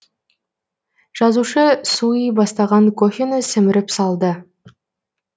жазушы суый бастаған кофені сіміріп салды